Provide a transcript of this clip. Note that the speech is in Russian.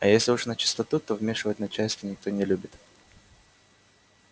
а уж если начистоту то вмешивать начальство никто не любит